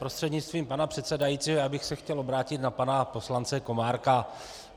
Prostřednictvím pana předsedajícího bych se chtěl obrátit na pana poslance Komárka.